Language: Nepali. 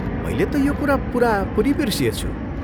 मैले त यो कुरा पुरापुरी बिर्सिएछु।